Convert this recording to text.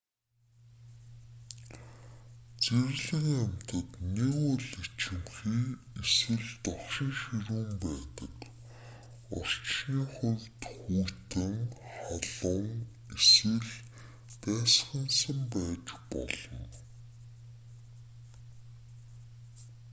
зэрлэг амьтад нэг бол ичимхий эсвэл догшин ширүүн байдаг орчны хувьд хүйтэн халуун эсвэл дайсагнасан байж болно